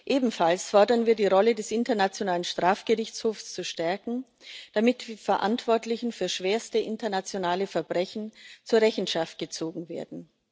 Ebenfalls fordern wir, die Rolle des Internationalen Strafgerichtshofs zu stärken, damit die Verantwortlichen für schwerste internationale Verbrechen zur Rechenschaft gezogen werden.